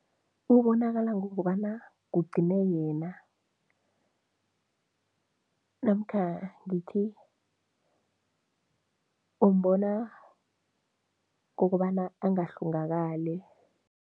Ubonakala ngokobana kugcine yena namkha ngithi umbona ngokobana angahlongakali.